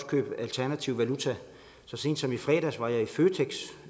købe alternativ valuta så sent som i fredags var jeg i føtex